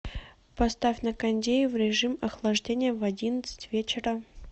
поставь на кондее в режим охлаждения в одиннадцать вечера